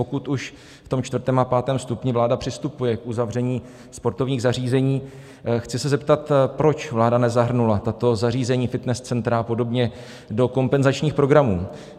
Pokud už v tom čtvrtém a pátém stupni vláda přistupuje k uzavření sportovních zařízení, chci se zeptat, proč vláda nezahrnula tato zařízení, fitness centra a podobně, do kompenzačních programů?